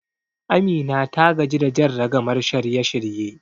Amina ta gaji da jan ragamar shirye-shirye.